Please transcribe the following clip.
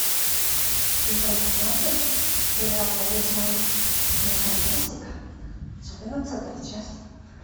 сезон тринадцать сериал научная нефантастика четырнадцатая часть